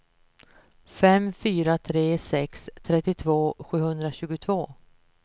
fem fyra tre sex trettiotvå sjuhundratjugotvå